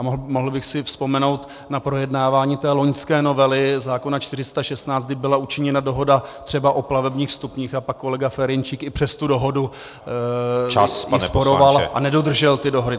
A mohl bych si vzpomenout na projednávání té loňské novely zákona 416, kdy byla učiněna dohoda třeba o plavebních stupních, a pak kolega Ferjenčík i přes tu dohodu ji sporoval a nedodržel ty dohody.